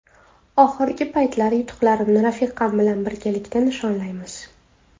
Oxirgi paytlar yutuqlarimni rafiqam bilan birgalikda nishonlaymiz.